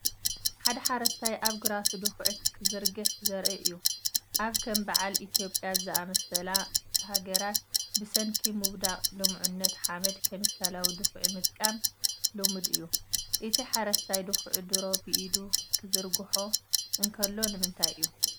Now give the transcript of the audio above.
ሓደ ሓረስታይ ኣብ ግራቱ ድኹዒ ክዝርግሕ ዘርኢ እዩ። ኣብ ከም በዓል ኢትዮጵያ ዝኣመሰላ ሃገራት ብሰንኪ ምውዳቕ ልሙዕነት ሓመድ ኬሚካላዊ ድኹዒ ምጥቃም ልሙድ እዩ። እቲ ሓረስታይ ድኹዒ ድሮ ብኢዱ ክዝርግሖ እንከሎ ንምንታይ እዩ ?